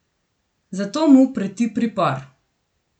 Zato mu preti pripor.